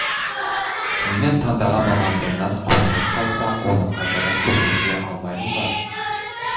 менің таңдаған мамандығымнан көңілім қалса оны қайтадан өзгерте алмаймын ба